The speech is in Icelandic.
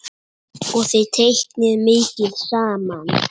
Og þið teiknið mikið saman?